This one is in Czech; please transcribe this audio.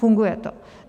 Funguje to.